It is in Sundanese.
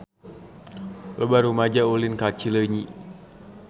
Loba rumaja ulin ka Cileunyi